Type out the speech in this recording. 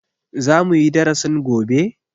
Za muyi darasin gobe?